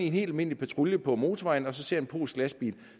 en helt almindelig patrulje på motorvejen og ser en polsk lastbil